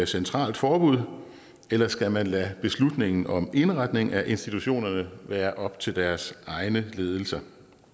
centralt forbud eller skal man lade beslutningen om indretning af institutionerne være op til deres egne ledelser